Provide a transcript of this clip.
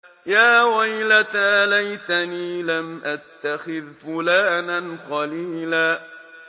يَا وَيْلَتَىٰ لَيْتَنِي لَمْ أَتَّخِذْ فُلَانًا خَلِيلًا